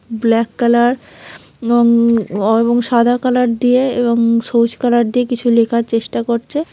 Black colour এবং এবং সাদা কালার দিয়ে এবং সবুজ কালার দিয়ে কিছু লেখার চেষ্টা করছে।